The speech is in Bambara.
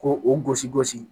Ko o gosi gosi